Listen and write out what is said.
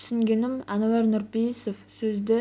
түсінгенім нуар нұрпейісов сөзді